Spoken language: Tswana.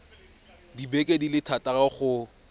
dibeke di le thataro go